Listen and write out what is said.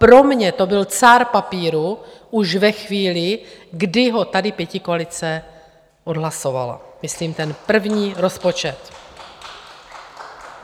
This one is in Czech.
Pro mě to byl cár papíru už ve chvíli, kdy ho tady pětikoalice odhlasovala, myslím ten první rozpočet.